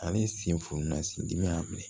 Ale sen fununna sin dimi ya la bi